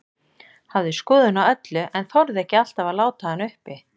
Hafði skoðun á öllu, en þorði ekki alltaf að láta hana uppi.